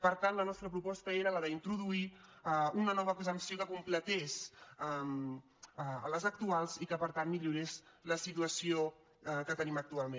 per tant la nostra proposta era la d’introduir una nova exempció que completés les actuals i que per tant millorés la situació que tenim actualment